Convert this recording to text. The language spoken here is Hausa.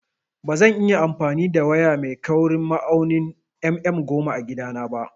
Bazan iya amfani da waya mai kaurin ma'aunin mm goma a gida na ba